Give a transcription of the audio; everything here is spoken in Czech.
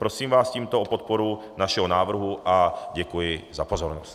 Prosím vás tímto o podporu našeho návrhu a děkuji za pozornost.